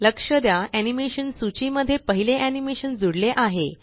लक्ष द्या एनीमेशन सूची मध्ये पहिले एनीमेशनजूडले आहे